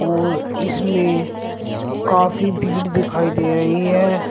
और इसमें काफी भीड़ दिखाई दे रही है।